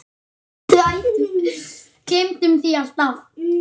Við gleymum því alltaf